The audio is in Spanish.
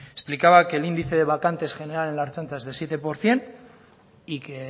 explicaba que el índice de vacantes general en la ertzaintza es del siete por ciento y que